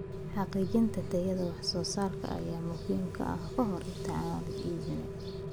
Xaqiijinta tayada wax soo saarka ayaa muhiim ah ka hor inta aan la iibin.